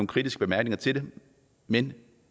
kritiske bemærkninger til det men